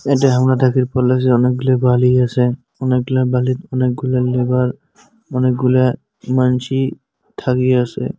এটা অনেকগুলি বালি আছে। অনেকগুলা বালির অনেকগুলা লেবার অনেকগুলা মানসি ঠাগি আছে।